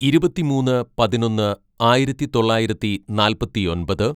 "ഇരുപത്തിമൂന്ന് പതിനൊന്ന് ആയിരത്തിതൊള്ളായിരത്തി നാൽപ്പത്തിയൊമ്പത്‌